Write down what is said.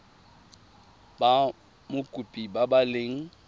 ba mokopi ba ba leng